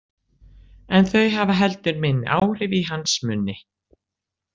En þau hafa heldur minni áhrif í hans munni.